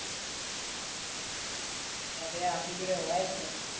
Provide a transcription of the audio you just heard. પૈસા તો યાર આપડી જોડે હોય જ ને.